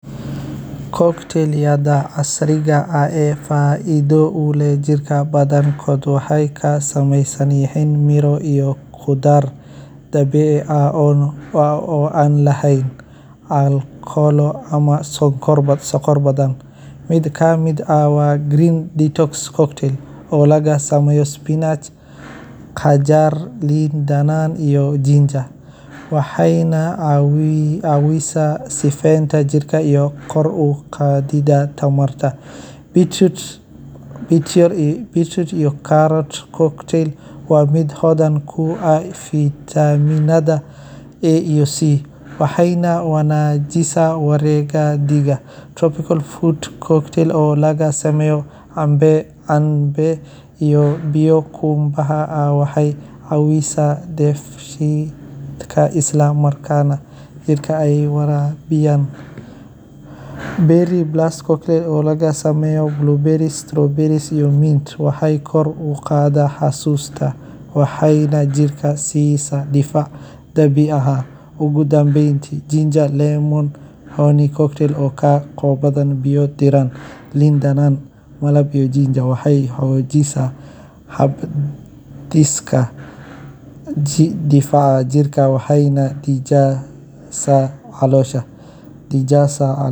Cocktail-ka cida casriga ah, gaar ahaan kuwa laga sameeyo miro dabiici ah sida liin, tufaax, cambe, babaay, iyo canab, waxay leeyihiin faa’iidooyin badan oo caafimaad u leh jirka. Cabitaannadan oo aan lahayn sonkor lagu daray ama kiimikooyin macmal ah, waxay jirka siiyaan fiitamiinno muhiim ah sida Vitaminka , iyo biyaha lagama maarmaanka u ah haynta qoyaanka jirka. Cocktail-ka miro isku dhafan wuxuu gacan ka geysan karaa kor u qaadidda hab-dhiska difaaca jirka,